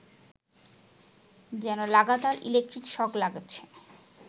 যেন লাগাতার electric shock লাগছে